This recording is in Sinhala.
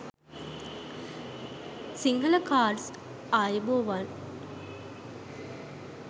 sinhala cards ayubowan